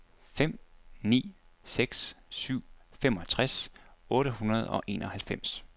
fem ni seks syv femogtres otte hundrede og enoghalvfems